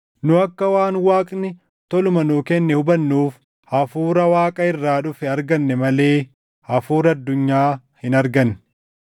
Nu akka waan Waaqni toluma nuu kenne hubannuuf Hafuura Waaqa irraa dhufe arganne malee hafuura addunyaa hin arganne.